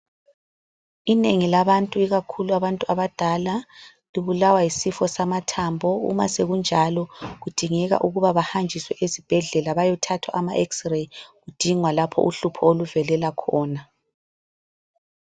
Inengi labantu ikakhulu abantu abadala, libulawa yisifo samathambo. Uma sekunjalo, kudingeka ukuba bahanjiswe esibhedlela beyethathwa ama xray kudingwa lapho uhlupho oluvelela khona.